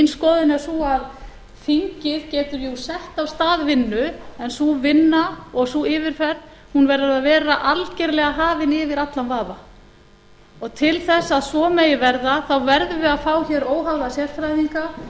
er sú að þingið getur jú sett af stað vinnu en sú vinna og sú yfirferð verður að vera algerlega hafin yfir allan vafa til þess að svo megi verða verðum við að fá hér óháða sérfræðinga